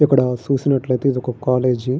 ఇక్కడ సుసినట్లైతే ఇది ఒక కాలేజీ .